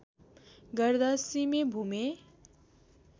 गर्दा सिमे भूमे